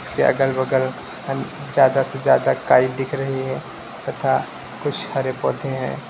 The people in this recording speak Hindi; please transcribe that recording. के अगल बगल में ज्यादा से ज्यादा काई दिख रही है तथा कुछ हरे पौधे हैं।